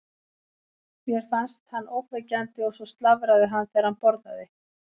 Mér fannst hann ógnvekjandi og svo slafraði hann þegar hann borðaði.